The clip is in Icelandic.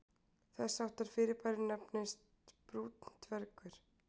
Þess háttar fyrirbæri nefnast brúnn dvergur.